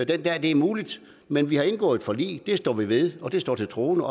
den dag det er muligt men vi har indgået et forlig det står vi ved det står til troende